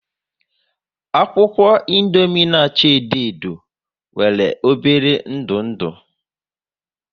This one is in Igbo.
Akwụkwọ Indomie na acha edo edo nwere obere ndu ndụ